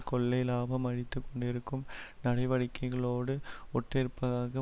கொள்ளை லாபம் அடித்து கொண்டிருக்கும் நடவடிக்கைகளோடு ஒட்டிருப்பதாக